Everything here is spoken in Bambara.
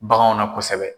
Baganw na kosɛbɛ